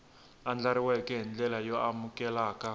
andlariweke hi ndlela yo amukeleka